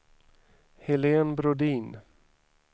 Helene Brodin